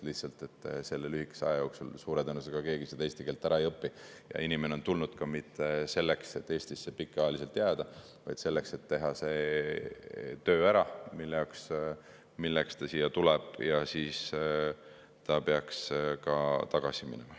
Lihtsalt selle lühikese aja jooksul suure tõenäosusega keegi eesti keelt ära ei õpi ja inimene ei ole tulnud ka mitte selleks, et Eestisse pikaajaliselt jääda, vaid selleks, et teha see töö ära, milleks ta siia tuleb, ja siis ta peaks tagasi minema.